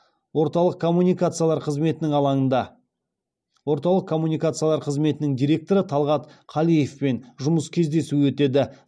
орталық коммуникациялар қызметінің алаңында орталық коммуникациялар қызметінің директоры талғат қалиевпен жұмыс кездесуі өтеді